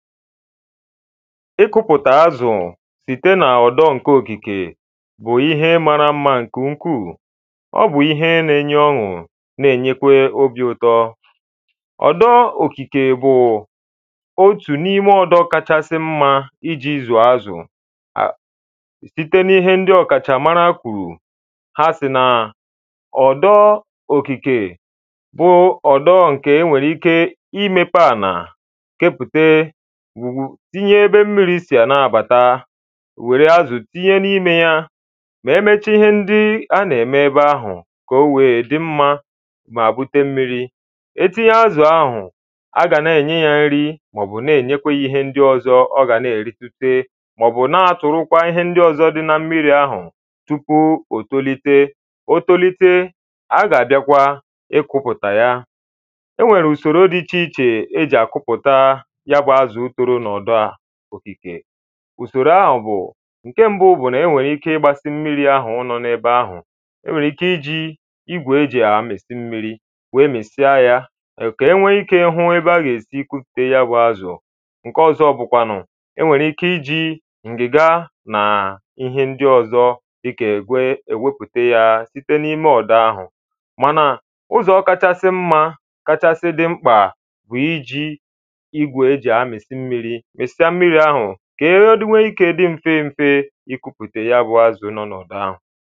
Ịkụpụta azụ site na ọdọ nke okìke bụ ihe mara mma nke ukwu Ọ bụ ihe n’enye ọṅụ na-enyekwe obi ụtọ Ọ̀dọ òkìkè bụ otù nime ọ̀dọ kachasɪ mma iji zuọ̀ azụ site n’ihe ndị ọ̀kàchàmara kwùrù ha sị n’ọdọ òkìkè bụ ọ̀dọ ǹkè enwèrè ike imepē ana kepùte ngwù tinye ebe mmirī si n’abata wère azụ tinye nime ya wee mechaa ihe ndị a nà-ème ebe ahụ kà o wee dị mmā mà bute mmirī Etinye azụ̀ ahụ a gà nà-ènye ya nri màọ̀bụ̀ n’ènyèkwà ya ihe ndị ọ̀zọ ọ̀ ga nà-èritute màọ̀bụ na tụ̀rụ ihe ndị ọ̀zọ dị na mmiri ahụ̄ tupu ò tolite. o tolite a ga-abịakwa ịkwụ̄pụtakwa ya Enwèrè ùsòrò dị icheichè e ji akwụpụta ya bụ azụ̀ toro n’ọ̀dọ̀ òkikè Ùsòrò ahụ bụ̀ ǹke mbụ bụ̀ nà-ènwèrè ike ịgbāsị mmirī ahụ nọ̀ n’ebe ahụ̀ Enwèrè ike iji igwè e ji amisị mmirī wee misịa ya kà enwee ike hụ ebe a gà-èsi gwùpùte ya bụ azụ̀ ̣Ǹke ọ̀zọ bụ̀kwànụ̀ enwèrè ike iji ǹgị̀gà nà ihe ndị ọ̀zọ dị̀ka èkwē èwèpùtè ya site n’ime ọ̀dọ ahụ̀ mànà uzọ̀ kachasị mmā kachasị̄ dị mkpà wụ̀ isī igwè èsì amịsị mmirī mị̀sịa mmirī ahụ̀ ka ihewede wee ikē dị m̀fe m̀fe ikūpùtè ya bụ azụ nọ n’ọ̀dọ ahụ̀